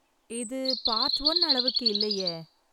இது part one அளவுக்கு இல்லையே.